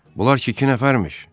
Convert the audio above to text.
Bunlar ki iki nəfərmiş.